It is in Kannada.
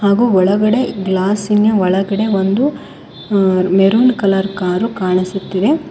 ಹಾಗೂ ಒಳಗಡೆ ಗ್ಲಾಸಿನ ಒಳಗಡೆ ಒಂದು ಅಅ ಮೆರೂನ್ ಕಲರ್ ಕಾರು ಕಾಣಿಸುತ್ತಿದೆ.